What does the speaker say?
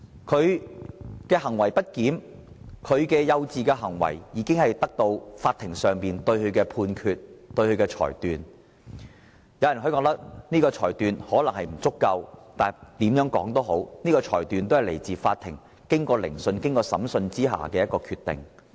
他的行為不檢和幼稚行為已由法庭作出裁決，而有人認為裁決可能並不足夠，但無論如何，有關裁決是由法庭經過聆訊後頒下的決定。